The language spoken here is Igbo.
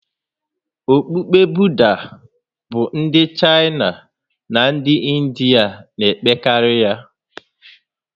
Okpukpe Buda bụ ndị Chaịna na ndị Indịa na-emekarị ya